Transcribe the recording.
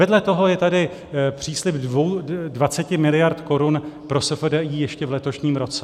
Vedle toho je tady příslib 20 mld. korun pro SFDI ještě v letošním roce.